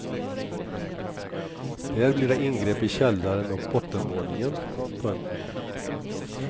Där blir det ingrepp i källaren och bottenvåningen. punkt